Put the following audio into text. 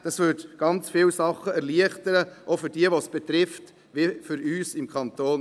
Das würde sehr viele Dinge erleichtern für diejenigen, welche es betrifft, aber auch für uns im Kanton.